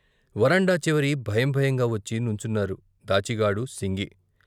వరండా చివరి భయం భయంగా వచ్చి నుంచున్నారు దాచిగాడు సింగి.